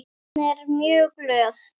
Hún er mjög góð.